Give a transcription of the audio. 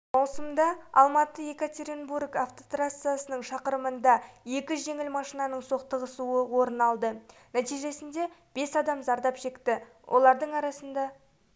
маусымда алматы-екатеринбург автотрассасының шақырымында екі жеңіл машинаның соқтығысуы орын алды нәтижесінде бес адам зардап шекті олардың